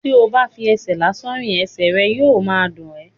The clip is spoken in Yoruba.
tí o bá n fi ẹsẹ̀ lásán rìn, ẹsẹ̀ yóò ma dùn ẹ́.